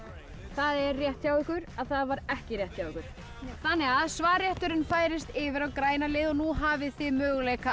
það er rétt hjá ykkur að það var ekki rétt hjá ykkur þannig að svarrétturinn færist yfir á græna liðið og nú hafið þið möguleika